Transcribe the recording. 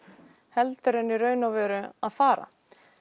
heldur en í raun og veru að fara